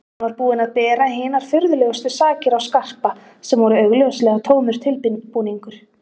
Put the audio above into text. Hann var búinn að bera hinar furðulegustu sakir á Skarpa sem voru augljóslega tómur tilbúningur.